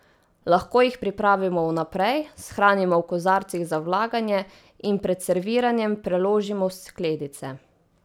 Lahko jih pripravimo vnaprej, shranimo v kozarcih za vlaganje in pred serviranjem preložimo v skledice.